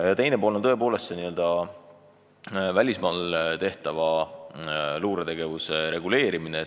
Teine teema on välismaal teostatava luuretegevuse reguleerimine.